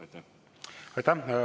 Aitäh!